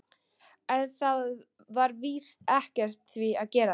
En það var víst ekkert við því að gera.